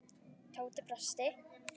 Tóti brosti.